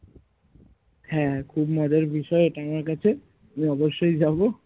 হ্যাঁ হ্যাঁ খুব মজার বিষয় এটা আমার কাছে আমি অবশ্যই যাবো